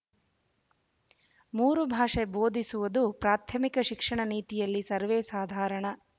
ಮೂರು ಭಾಷೆ ಬೋಧಿಸುವುದು ಪ್ರಾಥಮಿಕ ಶಿಕ್ಷಣ ನೀತಿಯಲ್ಲಿ ಸರ್ವೇಸಾಧಾರಣ